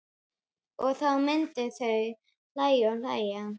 Og þá myndu þau hlæja og hlæja.